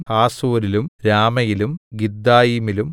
ഹാസോരിലും രാമയിലും ഗിത്ഥായീമിലും